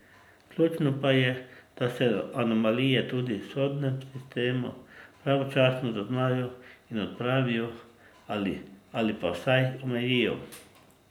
Ključno pa je, da se anomalije tudi v sodnem sistemu pravočasno zaznajo in odpravijo ali pa vsaj omejijo.